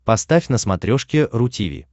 поставь на смотрешке ру ти ви